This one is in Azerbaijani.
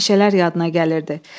Meşələr yadına gəlirdi.